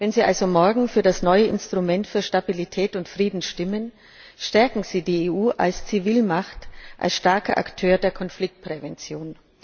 Wenn Sie also morgen also für das neue Instrument für Stabilität und Frieden stimmen, stärken Sie die EU als Zivilmacht, als starken Akteur der Konfliktprävention.